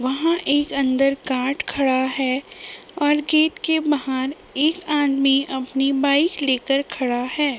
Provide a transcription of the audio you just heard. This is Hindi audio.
वहाँ एक अंदर काट खड़ा है और गेट के बहार एक आदमी अपनी बाइक लेकर खड़ा है।